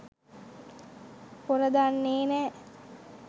පොර දන්නේ නෑ.